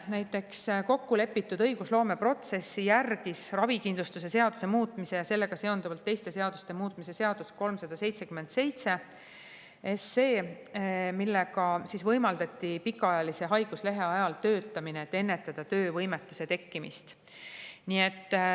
Näiteks järgis kokkulepitud õigusloomeprotsessi ravikindlustuse seaduse muutmise ja sellega seonduvalt teiste seaduste muutmise seaduse [] eelnõu 377, millega võimaldati pikaajalise haiguslehe ajal töötamine, et ennetada töövõimetuse tekkimist.